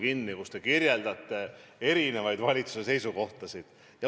Te rääkisite valitsuse erinevatest seisukohtadest.